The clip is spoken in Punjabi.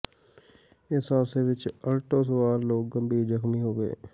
ਇਸ ਹਾਦਸੇ ਵਿਚ ਅਲਟੋ ਸਵਾਰ ਲੋਕ ਗੰਭੀਰ ਜ਼ਖਮੀ ਹੋ ਗਏ